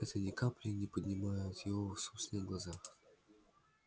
это ни капли не поднимет его в собственных глазах